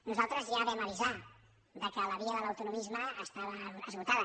nosaltres ja vam avisar que la via de l’autonomisme estava esgotada